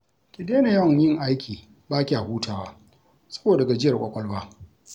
Ki daina yawan yin aiki ba kya hutawa saboda gajiyar ƙwaƙwalwa